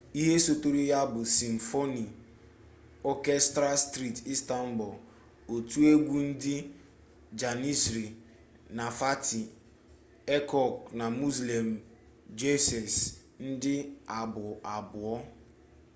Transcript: ihe sotere ya bụ simfoni ọkestra steeti istanbul otu egwu ndị janisrị na fatih erkoç na müslüm gürses ndị abụ abụọ